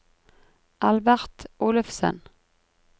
Albert Olufsen